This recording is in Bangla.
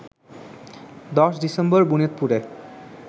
১০ ডিসেম্বর বিনোদপুরে